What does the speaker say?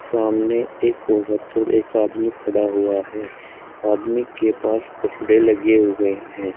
सामने एक औरत और एक आदमी खड़ा हुआ है आदमी के पास कपड़े लगे हुए हैं।